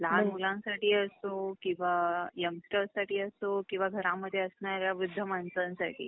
लहान मुलांसाठी असो किंवा यंगस्टरसाठी असो किंवा घरामध्ये असणाऱ्या वृद्ध माणसानंसाठी